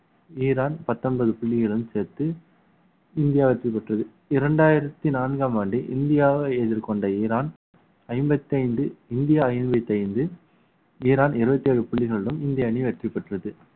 Iran பத்தொன்பது புள்ளிகளுடன் சேர்த்து இந்தியா வெற்றி பெற்றது இரண்டாயிரத்தி நான்காம் ஆண்டு இந்தியாவை எதிர்கொண்ட ஈரான் ஐம்பத்தைந்து இந்தியா ஐம்பத்தி ஐந்து ஈரான் இருபத்தி ஏழு புள்ளிகளுடன் இந்திய அணி வெற்றி பெற்றது